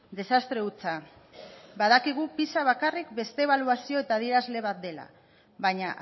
desastre hutsa badakigu pisa bakarrik beste ebaluazio eta adierazle bat dela baina